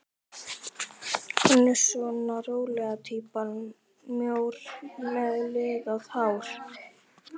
Hann er svona rólega týpan, mjór með liðað hár.